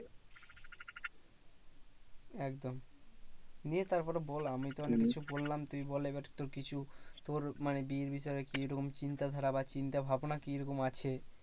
একদম নিয়ে তারপরে বল আমিতো অনেককিছু বললাম। তুই বল এবার একটু কিছু। তোর মানে বিয়ের বিষয়ে কিরকম চিন্তা ধারা বা চিন্তাভাবনা কি রকম আছে?